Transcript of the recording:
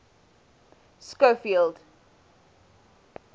schofield